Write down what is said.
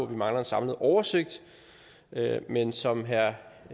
vi mangler en samlet oversigt men som herre